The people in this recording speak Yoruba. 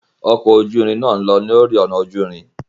Ọkọ oju irin náa n lọ lori ọna oju-irin.